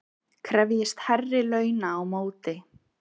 Krefjist hærri launa á móti